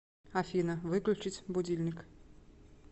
афина выключить будильник